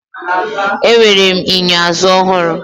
Enwere m enyo azụ ọhụrụ.